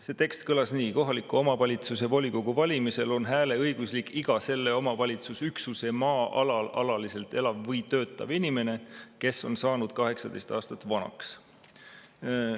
See tekst kõlas nii: "Kohaliku omavalitsuse volikogu valimisel on hääleõiguslik iga selle omavalitsusüksuse maa-alal alaliselt elav või töötav inimene, kes on saanud 18 aastat vanaks.